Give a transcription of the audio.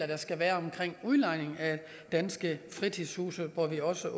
der skal være omkring udlejning af danske fritidshuse hvor vi også